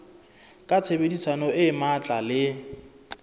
ka tshebedisano e matla le